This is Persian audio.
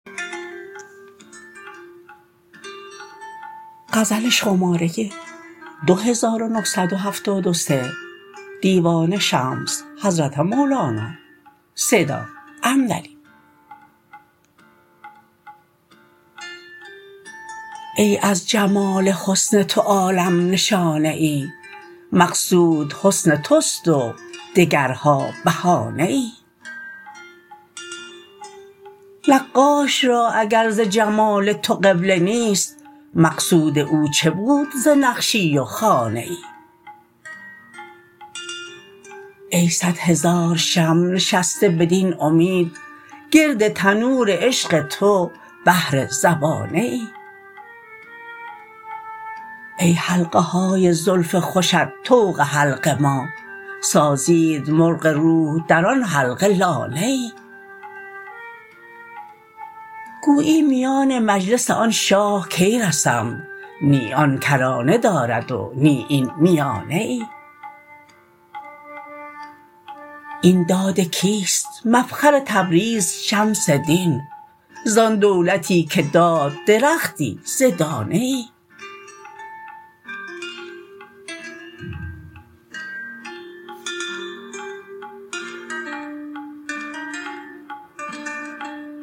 ای از جمال حسن تو عالم نشانه ای مقصود حسن توست و دگرها بهانه ای نقاش را اگر ز جمال تو قبله نیست مقصود او چه بود ز نقشی و خانه ای ای صد هزار شمع نشسته بدین امید گرد تنور عشق تو بهر زبانه ای ای حلقه های زلف خوشت طوق حلق ما سازید مرغ روح در آن حلقه لانه ای گویی میان مجلس آن شاه کی رسم نی آن کرانه دارد و نی این میانه ای این داد کیست مفخر تبریز شمس دین زان دولتی که داد درختی ز دانه ای